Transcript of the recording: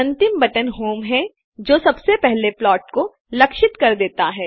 अंतिम button home है जो सबसे पहले प्लाट को लक्षित करता देता है